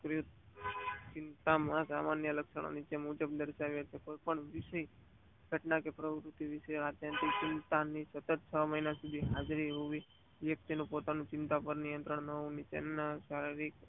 ચિંતા માં આ સામાન્ય લક્ષણો નીચે મુજબ દર્શાવી કોઈ પણ ઘટના કે પ્રવુતિ વિશે ચિંતા ની સતત છ મહિના સુધી હાજરી હોવી અને વક્તિ નું પોતાની ચિંતા પાર નિયંત્રણ ન હોય તો તેના શારીરિક